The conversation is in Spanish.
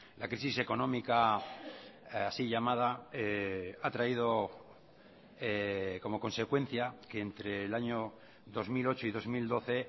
la crisis económica así llamada ha traído como consecuencia que entre el año dos mil ocho y dos mil doce